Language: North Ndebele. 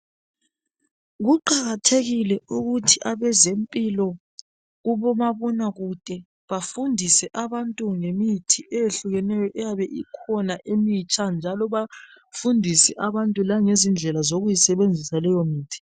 Kuqakathekile ukuthi abezempilo kubomabonakude bafundise abantu ngemithi eyehlukeneyo eyabe ikhona emitsha njalo bafundise abantu langezindlela zokuyisebenzisa leyo mithi.